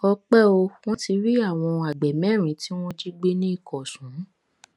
ọpẹ o wọn ti rí àwọn àgbẹ mẹrin tí wọn jí gbé ní ìkọsùn